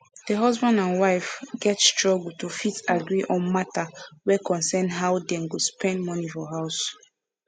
the husband and wife get struggle to fit agree on matter wey concern how them go spend money for house